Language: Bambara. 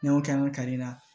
N'an y'o kɛ an ka kari la